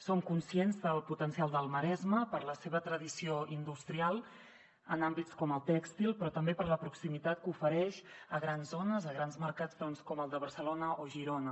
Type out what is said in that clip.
som conscients del potencial del maresme per la seva tradició industrial en àmbits com el tèxtil però també per la proximitat que ofereix a grans zones a grans mercats com el de barcelona o girona